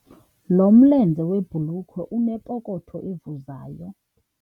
Lo mlenze webhulukhwe unepokotho evuzayo.